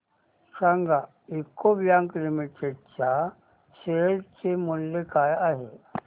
सांगा UCO bank limited च्या share चे मूल्य काय आहे